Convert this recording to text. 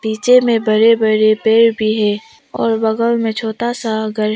नीचे में बड़े बड़े पेड़ भी हैं और बगल में छोटा सा घर है।